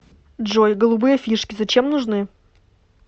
джой голубые фишки зачем нужны